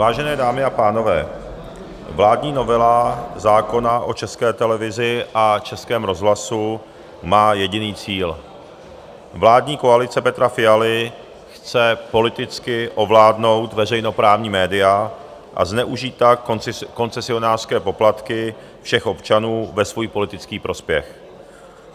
Vážené dámy a pánové, vládní novela zákona o České televizi a Českém rozhlasu má jediný cíl: vládní koalice Petra Fialy chce politicky ovládnout veřejnoprávní média a zneužít tak koncesionářské poplatky všech občanů ve svůj politický prospěch.